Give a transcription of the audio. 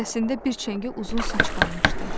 Ənsəsində bir çəngə uzun saç qalmışdı.